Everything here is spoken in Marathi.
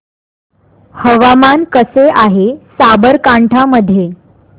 हवामान कसे आहे साबरकांठा मध्ये